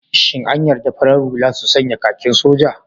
Shin an yarda farar hula su sanya kakin soja?